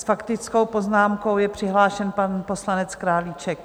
S faktickou poznámkou je přihlášen pan poslanec Králíček.